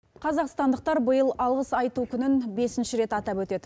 қазақстандықтар биыл алғыс айту күнін бесінші рет атап өтеді